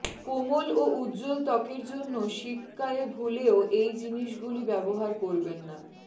কোমল ও উজ্জ্বল ত্বকের জন্য শীতকালে ভুলেও এই জিনিসগুলি ব্যবহার করবেন না